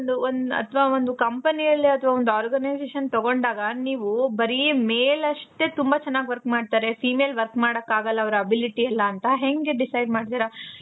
ಒಂದು ಅತವ company ಅಲ್ಲಿ ಅತವಾ ಒಂದು organization ತಗೊಂಡಾಗ ನೀವು ಬರಿ male ಅಷ್ಟೆ ತುಂಬಾ ಚೆನಾಗಿ work ಮಾಡ್ತಾರೆ. female work ಮಾಡಾಕಾಗಲ್ಲ ಅವರ ability ಇರಲ್ಲ ಅಂತ ಹೆಂಗೆ decide ಮಾಡ್ತಿರ.